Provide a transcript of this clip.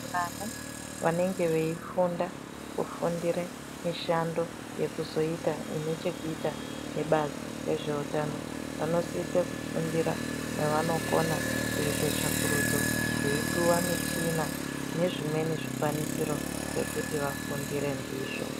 Vana vanenge vei funda kufundire mishando yekuzoita ine chekuita ne bazi rezve utano vanosisa kufundira pa vanokona kuita tsvakurudzo veyi piwa michina ne zvimweni zvikwanisiro zvekuti vafundire ndizvo.